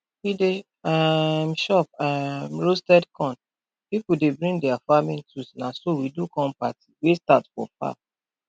we dey um chop um roasted corn people dey bring dia farming tools na so we do corn party wey start for farm